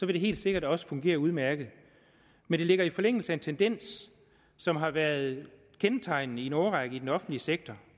det helt sikkert også fungere udmærket men det ligger i forlængelse af en tendens som har været kendetegnende i en årrække i den offentlige sektor